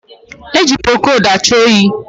E ji prokodu achụ oyi